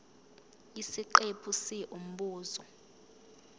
isiqephu c umbuzo